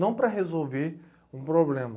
Não para resolver um problema.